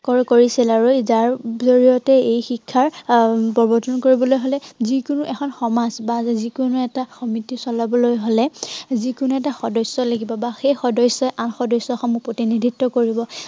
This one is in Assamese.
কৰিছিল আৰু যাৰ জড়িয়তে এই শিক্ষা আহ প্ৰৱৰ্তন কৰিবলৈ হলে যি কোনো এখন সমাজ বা যি কোনো এটা সমিতি চলাবলৈ হলে, যি কোনো এটা সদস্য় লাগিব। বা সেই সদস্যি আন সদস্য়সমূহ প্ৰতিনিধিত্ব কৰিব।